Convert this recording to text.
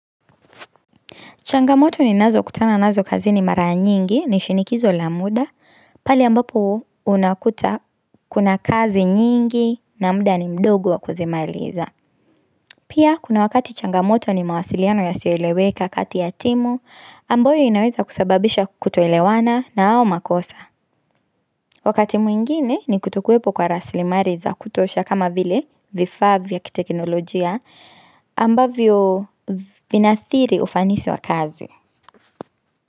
Changamoto ninazokutana nazo kazini mara nyingi, ni shinikizo la muda, pale ambapo unakuta kuna kazi nyingi na muda ni mdogu wa kuzimailiza. Pia, kuna wakati changamoto ni mawasiliano yasiyoeleweka kati ya timu, ambayo inaweza kusababisha kutoelewana na au makosa. Wakati mwingine ni kutokuwepo kwa rasilimali za kutosha kama vile vifa vya kiteknolojia ambavyo vina athiri ufanisi wa kazi.